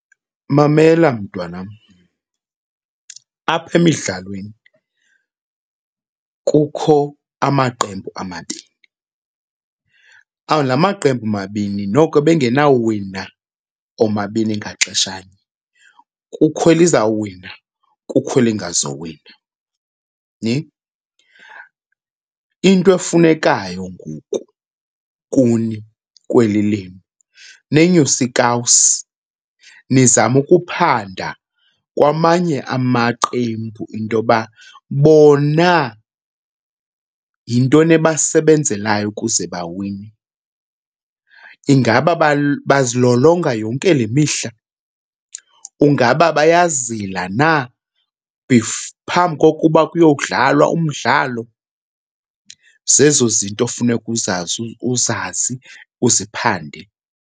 Mamela mntwanam, apha emidlalweni kukho amaqembu amabini. La maqembu mabini noko ebengenawuwina omabini ngaxeshanye, kukho elizawuwina kukho elingazuwina . Into efunekayo ngoku kuni kweli lenu nenyuse iikawusi, nizame ukuphanda kwamanye amaqembu into yoba bona yintoni ebasebenzelayo ukuze bawine. Ingaba bazilolonga yonke le mihla? Ingaba bayazila na phambi kokuba kuyokudlalwa umdlalo? Zezo zinto funeka uzazi uzazi uziphande.